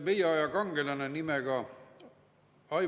Igal juhul on vaja teha kivinägu, sest võim ei haise ja raha ei haise.